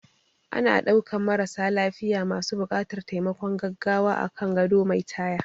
Ana ɗaukan marasa lafiya masu buƙatar taimakon gaggawa akan gado mai taya